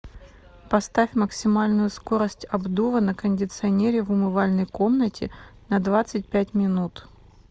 поставь максимальную скорость обдува на кондиционере в умывальной комнате на двадцать пять минут